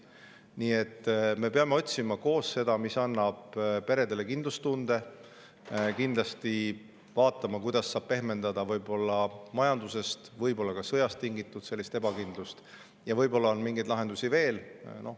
Nii et me peame otsima koos seda, mis annab peredele kindlustunde, kindlasti vaatama, kuidas saab pehmendada võib-olla majandusest, võib-olla sõjast tingitud ebakindlust, ja võib-olla on mingeid lahendusi veel.